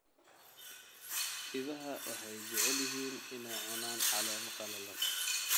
Idaha waxay jecel yihiin inay cunaan caleemo qallalan.